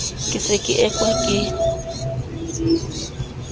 ke se ke ekwa ke